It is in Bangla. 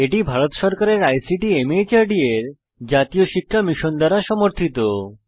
এটি ভারত সরকারের আইসিটি মাহর্দ এর জাতীয় সাক্ষরতা মিশন দ্বারা সমর্থিত